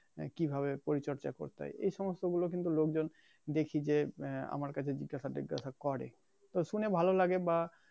কিভাবে পরিচর্যা করতে হয় এইসমস্ত গুলো কিন্তু লোকজন দেখি যে উম আমার কাছে জিজ্ঞাসা টিজ্ঞাসা করে তো শুনে ভালো লাগে বা